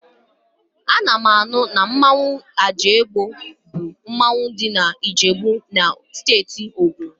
Ana m anụ na mmanwụ Agemo bụ mmanwụ ndị Ijebu dị na Steeti Ogun